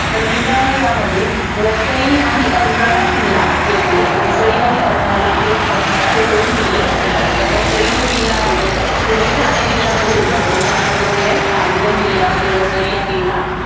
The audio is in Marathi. तर मित्रांनो, यामध्ये वसई व अर्नाळा किल्ला येतो. वसई आणि अर्नाला~ अर्नाळा हे दोन किल्ले येतात. आता वसई जो किल्ला आहे, तो आधी ठाणे जिल्ह्यामध्ये होता. परंतु आता तो कुठेय? पालघर जिल्ह्यामध्ये वसई हा किल्ला